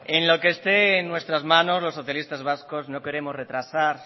en lo que esté en nuestras manos los socialistas vascos no queremos retrasar